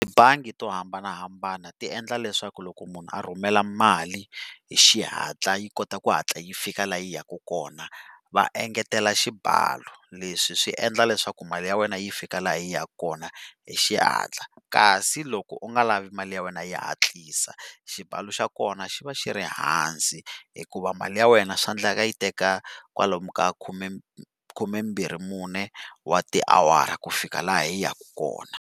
Tibangi to hambanahambana ti endla leswaku loko munhu a rhumela mali hi xihatla yi kota ku hatla yi fika laha yi yaka kona, va engetela xibalo. Leswi swi endla leswaku mali ya wena yi fika laha yi yaka kona hi xihatla. Kasi loko u nga lavi mali ya wena yi hatlisa, xibalo xa kona xi va xi ri ehansi hikuva mali ya wena swa endleka yi teka kwalomu ka khume khumembirhi mune wa tiawara ku fika laha yi yaka kona.